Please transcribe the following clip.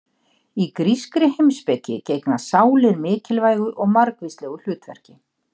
Í grískri heimspeki gegna sálir mikilvægu og margvíslegu hlutverki.